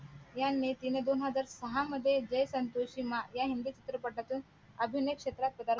यांनी तिने दोन हजार सहा मध्ये जय संतोषी मा या हिंदी चित्रपटातून अभिनय क्षेत्रात पदार्पण केले